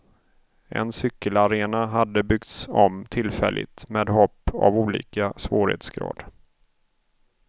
En cykelarena hade byggts om tillfälligt med hopp av olika svårighetsgrad.